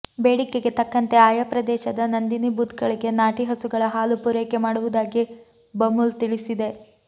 ಬೇಡಿಕೆಗೆ ತಕ್ಕಂತೆ ಆಯಾ ಪ್ರದೇಶದ ನಂದಿನಿ ಬೂತ್ಗಳಿಗೆ ನಾಟಿ ಹಸುಗಳ ಹಾಲು ಪೂರೈಕೆ ಮಾಡುವುದಾಗಿ ಬಮೂಲ್ ತಿಳಿಸಿದೆ